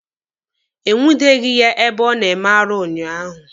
E nwudeghi ya ebe ọ na-eme arụ unyaahụ.